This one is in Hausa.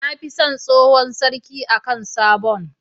Nafi son tsohon sarki akan sabon